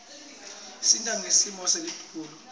isita ngesimo selitulu